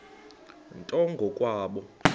nto ngo kwabo